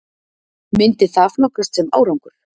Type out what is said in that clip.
Myndi það flokkast sem árangur??